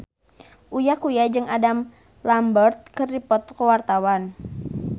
Uya Kuya jeung Adam Lambert keur dipoto ku wartawan